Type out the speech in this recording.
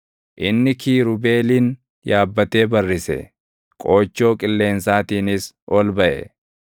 Inni kiirubeelin yaabbatee barrise; qoochoo qilleensaatiinis ol baʼe.